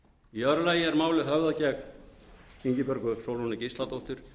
vara við hundrað fertugasta og fyrstu grein almennra hegningarlaga